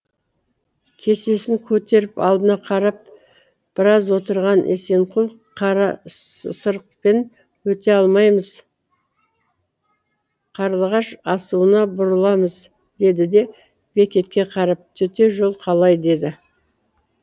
кесесін көтеріп алдына қарап біраз отырған есенқұл қарасырықпен өте алмаймыз қарлығаш асуына бұрыламыз деді де бекетке қарап төте жол қалай деді